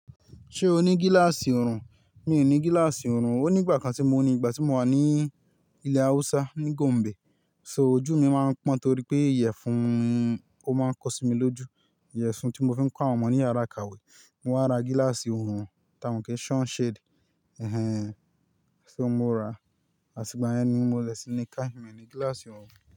Ṣé o ní gíláàsì ọ̀rùn? Mi ò ní gíláàsì ọ̀rùn. Ó ní ìgbà kan tí mo ní ìgbà tí mo wà ní ilẹ̀ Hausa ní Gombe, so ojú mi máa ń pọ́n torí pé ìyẹ̀fun ó máa ń kọ sí mi lójú. Iyẹ̀fun tí mo fi ń kó àwọn ọmọ ní yàrá ìkàwé. Mo wá ra gíláàsì ọ̀rùn, ta mo si sunshade. Ẹ̀hẹn, ṣé mo rà á? Àti gba yẹn ni mo dẹ̀ sí ní car me ni gíláàsì ọ̀rùn.